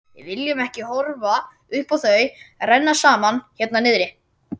Við viljum ekki horfa upp á þau renna saman hérna niðri.